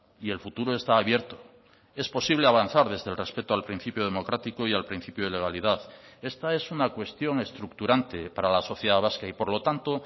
y el futuro está abierto es posible avanzar desde el respeto al principio democrático y al principio de legalidad esta es una cuestión estructurante para la sociedad vasca y por lo tanto